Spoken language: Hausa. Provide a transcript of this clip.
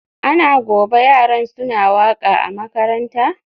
Ana gobe yaran suna waka a makaranta?